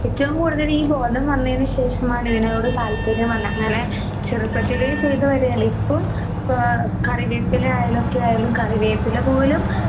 ഏറ്റവും കൂടുതൽ ഈ ബോധം വന്നതിനുശേഷമാണ് ഇതിനോടു താൽപര്യം വന്നെ അങ്ങനെ ചെറുപ്പത്തില് ചെയ്ത കാര്യാണ്. ഇപ്പം ആഹ് കറിവേപ്പില ആയാലൊക്കെയായാലും കറിവേപ്പില